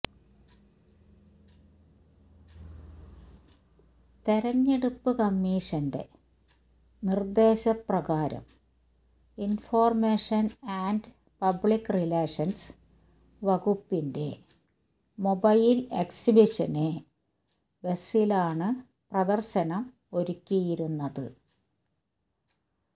തെരഞ്ഞെടുപ്പ് കമ്മീഷന്റെ നിര്ദ്ദേശ പ്രകാരം ഇന്ഫര്മേഷന് ആന്റ് പബ്ലിക് റിലേഷന്സ് വകുപ്പിന്റെ മൊബൈല് എക്സിബിഷന് ബസ്സിലാണ് പ്രദര്ശനം ഒരുക്കിയിരിക്കുന്നത്